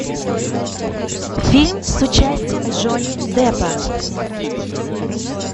фильм с участием джонни деппа